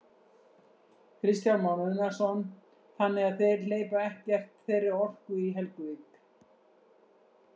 Kristján Már Unnarsson: Þannig að þeir hleypa ekkert þeirri orku í Helguvík?